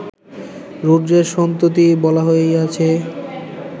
রুদ্রের সন্ততি বলা হইয়াছে